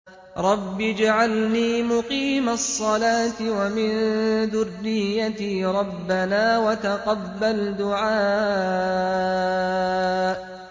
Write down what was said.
رَبِّ اجْعَلْنِي مُقِيمَ الصَّلَاةِ وَمِن ذُرِّيَّتِي ۚ رَبَّنَا وَتَقَبَّلْ دُعَاءِ